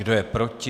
Kdo je proti?